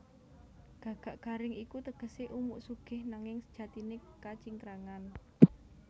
Gagak garing iku tegesé umuk sugih nanging sejatiné kacingkrangan